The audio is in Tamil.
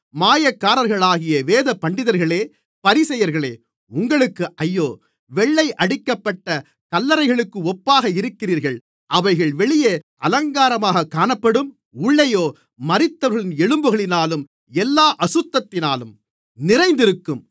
மாயக்காரர்களாகிய வேதபண்டிதர்களே பரிசேயர்களே உங்களுக்கு ஐயோ வெள்ளையடிக்கப்பட்ட கல்லறைகளுக்கு ஒப்பாக இருக்கிறீர்கள் அவைகள் வெளியே அலங்காரமாகக் காணப்படும் உள்ளேயோ மரித்தவர்களின் எலும்புகளினாலும் எல்லா அசுத்தத்தினாலும் நிறைந்திருக்கும்